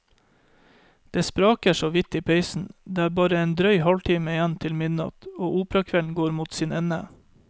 Det spraker så vidt i peisen, det er bare en drøy halvtime igjen til midnatt, og operakvelden går mot sin ende.